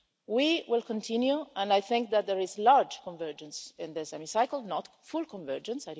We will continue, and I think that there is large convergence in this Hemicycle not full convergence